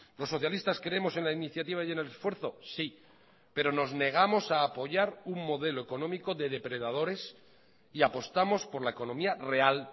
los socialistas creemos en la iniciativa y en el esfuerzo sí pero nos negamos a apoyar un modelo económico de depredadores y apostamos por la economía real